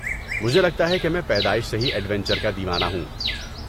مجھے لگتا ہے کہ میں پیدائش سے ہی ایڈونچر کا دیوانہ ہوں۔